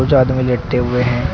कुछ आदमी लेटे हुए हैं।